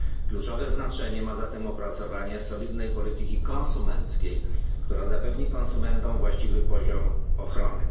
Kluczowe znaczenie ma zatem opracowanie solidnej polityki konsumenckiej, która zapewni konsumentom właściwy poziom ochrony.